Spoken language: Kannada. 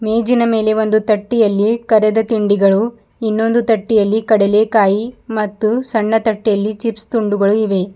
ಮೇಜಿನ ಮೇಲೆ ಒಂದು ತಟ್ಟಿಯಲ್ಲಿ ಕರೆದ ತಿಂಡಿಗಳು ಇನ್ನೊಂದು ತಟ್ಟಿಯಲ್ಲಿ ಕಡಲೆ ಕಾಯಿ ಮತ್ತು ಸಣ್ಣ ತಟ್ಟೆಯಲ್ಲಿ ಚಿಪ್ಸ್ ತುಂಡುಗಳು ಇವೆ.